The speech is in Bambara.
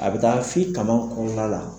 A bi taa f'i kama kɔrɔla la.